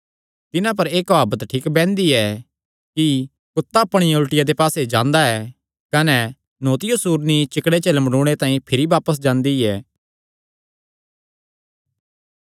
तिन्हां पर एह़ काहवत ठीक बैंहदी ऐ कि कुत्ता अपणिया उल्टिया दे पास्से जांदा ऐ कने न्हौतियो सूअरनी चिकड़े च लमड़ूणे तांई भिरी बापस जांदी ऐ